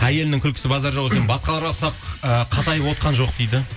әйелінің күлкісі базар жоқ екен басқаларға ұқсап ыыы қатайып отырған жоқ дейді